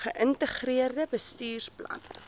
ge integreerde bestuursplan